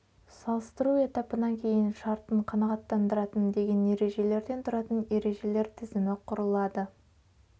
салыстыру этапынан кейін шартын қанағатандыратын деген ережелерден тұратын ережелер тізімі құылады